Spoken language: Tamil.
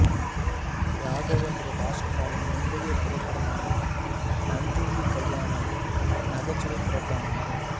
ராகவேந்திர ராஜ்குமாரின் முந்தைய திரைப்படமான நஞ்சுண்டி கல்யாணாவும் நகைச்சுவை திரைப்படமாகும்